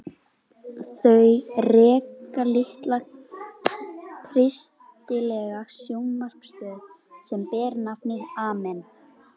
Þau reka litla kristilega sjónvarpsstöð sem ber nafnið Amen.